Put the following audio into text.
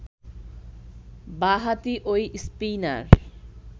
বাঁ-হাতি ঐ স্পিনার